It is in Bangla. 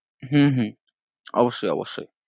হম হম অবশ্যয় অবশ্যয়